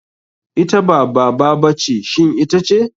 Ita ba baba ba ce shin ita ce?